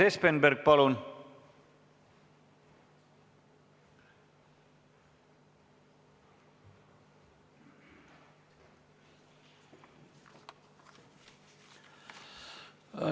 Urmas Espenberg, palun!